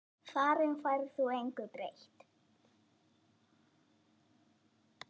Þar um færð þú engu breytt.